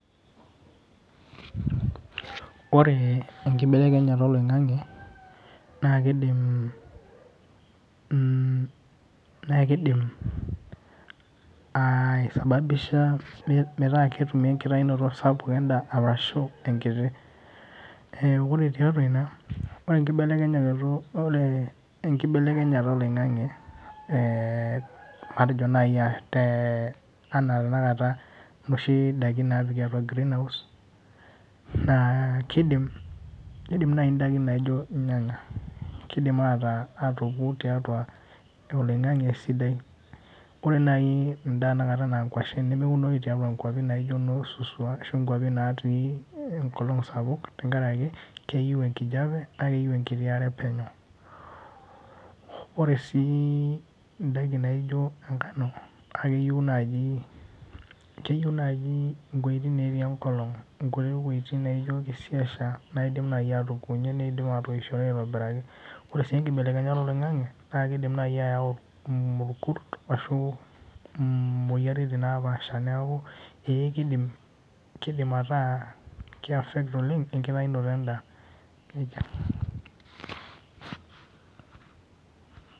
Ore enkibelekenyata oloing'ang'e, na kidim, na kidim aisababisha metaa ketumi enkitayunoto sapuk endaa arashu enkiti. Ore tiatua ina, ore enkibelekenyata oloing'ang'e, matejo nai ah te anaa tanakata inoshi daiki napiki atua greenhouse, naa kidim nai idaiki naijo irnyanya. Kidim ataa atoki tiatua oloing'ang'e sidai. Ore nai endaa enakata ena kwashen nemeunoyu tiatua nkwapi naijo no Suswa ashu nkwapi natii enkolong sapuk tenkaraki, keyieu enkijape na keyieu enkiti are penyo. Ore si idaiki naijo enkano, na keyieu naji, keyieu naji iwueitin natii enkolong. Inkuti wuejiting naijo kisiasha naidim nai atokunye nidim atoishoto aitobiraki. Ore si enkibelekenyata oloing'ang'e, na kidim nai ayau mukurt ashu imoyiaritin napaasha, neeku eh kidim ataa ki affect oleng enkitayunoto endaa. Nejia.